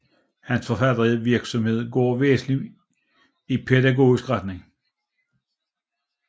Hans forfattervirksomhed går væsentlig i pædagogisk retning